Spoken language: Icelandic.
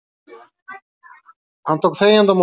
Hann tók þegjandi á móti